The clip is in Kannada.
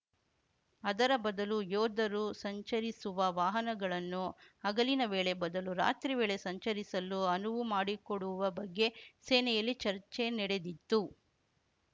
ಅದರ ಬದಲು ಯೋಧರು ಸಂಚರಿಸುವ ವಾಹನಗಳನ್ನು ಹಗಲಿನ ವೇಳೆ ಬದಲು ರಾತ್ರಿ ವೇಳೆ ಸಂಚರಿಸಲು ಅನುವು ಮಾಡಿಕೊಡುವ ಬಗ್ಗೆ ಸೇನೆಯಲ್ಲಿ ಚರ್ಚೆ ನೆಡೆದಿತ್ತು